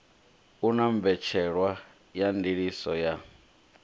una mbetshelwa ya ndiliso ya